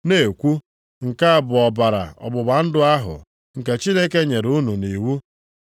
Na-ekwu, “Nke a bụ ọbara ọgbụgba ndụ ahụ nke Chineke nyere unu iwu.” + 9:20 \+xt Ọpụ 24:8\+xt*